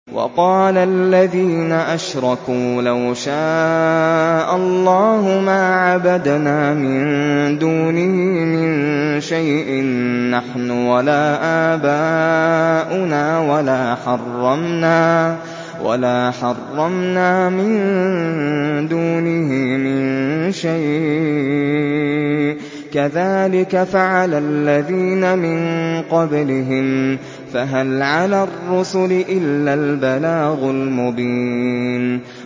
وَقَالَ الَّذِينَ أَشْرَكُوا لَوْ شَاءَ اللَّهُ مَا عَبَدْنَا مِن دُونِهِ مِن شَيْءٍ نَّحْنُ وَلَا آبَاؤُنَا وَلَا حَرَّمْنَا مِن دُونِهِ مِن شَيْءٍ ۚ كَذَٰلِكَ فَعَلَ الَّذِينَ مِن قَبْلِهِمْ ۚ فَهَلْ عَلَى الرُّسُلِ إِلَّا الْبَلَاغُ الْمُبِينُ